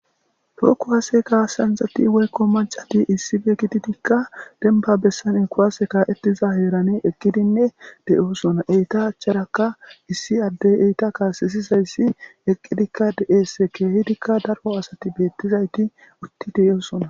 Tokuwasehasekasanzati woykko machati issi be kitidikka denbabessan in kuwaase kaa7ettiza heerane eqqidinne deyosona eyta achcharaka issi addey eyta kaasisizayssi eqqidikka de7eesse keehidikka daro asati beettizayti utti deeosona